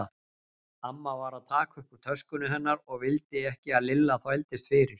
Amma var að taka upp úr töskunni hennar og vildi ekki að Lilla þvældist fyrir.